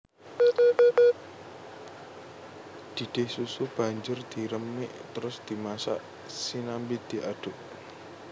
Didih susu banjur diremik trus dimasak sianmbi diaduk